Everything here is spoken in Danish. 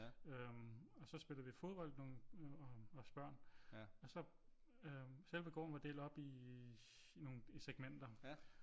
Øh og så spillede vi fodbold os børn og så selve gården var delt op i nogen i segmenter